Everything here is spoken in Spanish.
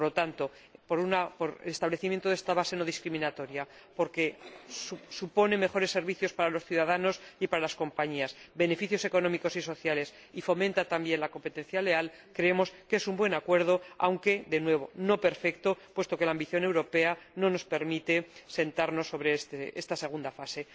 Por lo tanto, por el establecimiento de esta base no discriminatoria, porque supone mejores servicios para los ciudadanos y para las compañías, porque genera beneficios económicos y sociales y fomenta, también, la competencia leal, creemos que es un buen acuerdo aunque, de nuevo, no perfecto, puesto que la ambición europea no nos permite sentarnos sobre esta segunda fase.